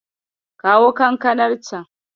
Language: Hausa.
Kawo kankanar can.